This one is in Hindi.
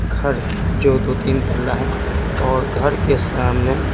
घर है जो दो-तीन तला है और घर के सामने--